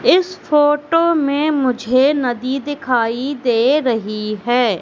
इस फोटो में मुझे नदी दिखाई दे रही है।